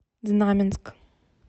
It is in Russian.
знаменск